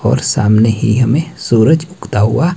और सामने ही हमें सूरज उगता हुआ--